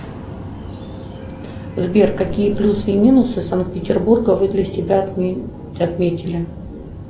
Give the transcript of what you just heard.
сбер какие плюсы и минусы санкт петербурга вы для себя отметили